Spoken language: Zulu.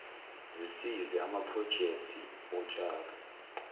zisize amaprojekthi otshalo